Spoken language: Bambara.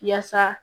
Yaasa